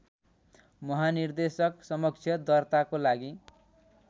महानिर्देशकसमक्ष दर्ताको लागि